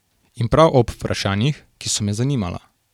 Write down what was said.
In prav ob vprašanjih, ki so me zanimala.